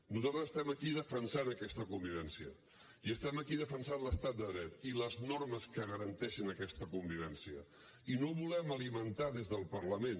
nosaltres estem aquí defensant aquesta convivència i estem aquí defensant l’estat de dret i les normes que garanteixen aquesta convivència i no volem alimentar des del parlament